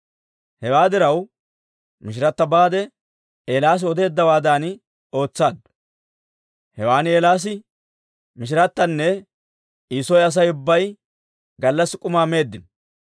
Hewaa diraw, mishirata baade, Eelaasi odeeddawaadan ootsaaddu; hewan Eelaasi, mishiratanne I soo Asay ubbaa gallassi k'umaa meeddino.